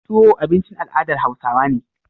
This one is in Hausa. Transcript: Tuwo abincin al adar hausawa ne